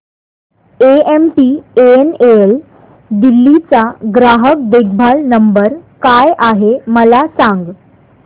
MTNL Delhi चा ग्राहक देखभाल नंबर काय आहे मला सांग